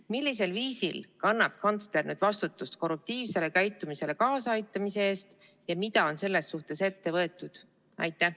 Millisel viisil kannab kantsler nüüd vastutust korruptiivsele käitumisele kaasa aitamise eest ja mida on selles suhtes ette võetud?